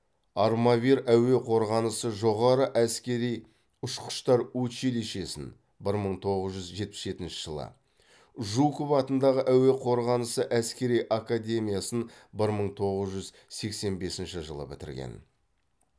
армавир әуе қорғанысы жоғары әскери ұшқыштар училищесін бір мың тоғыз жүз жетпіс жетінші жылы жуков атындағы әуе қорғанысы әскери академиясын бір мың тоғыз жүз сексен бесінші жылы бітірген